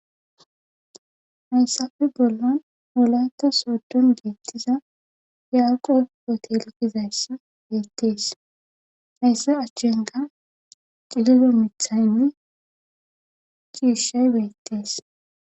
Hayssafe bollan wolaytta sooddon beettiza yaaqob hoteele gizayssi beettees hayssa achenkka cililo mithaynne ciishay beettees.